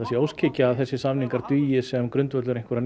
sé óskhyggja að þessir samningar dugi sem grundvöllur einhverjar